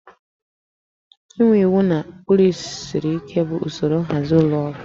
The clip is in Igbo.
Inwe iwu na ụkpụrụ siri ike bụ usoro nhazi ụlọ ọrụ